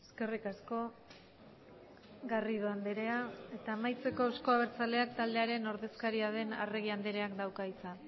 eskerrik asko garrido andrea eta amaitzeko euzko abertzaleak taldearen ordezkaria den arregi andreak dauka hitza